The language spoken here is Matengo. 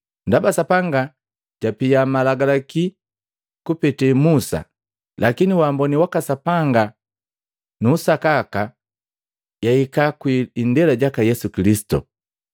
Ndaba Sapanga japia Malagalakilo kupete Musa, lakini umboni waka Sapanga na usakaka yahika kwii indela jaka Yesu Kilisitu.